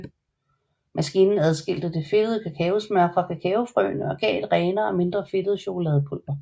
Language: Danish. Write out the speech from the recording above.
Maskinen adskilte det fedtede kakaosmør fra kakaofrøene og gav et renere og mindre fedtet chokoladepulver